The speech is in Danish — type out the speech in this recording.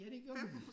Ja det gjorde man